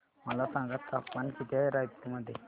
मला सांगा तापमान किती आहे रायपूर मध्ये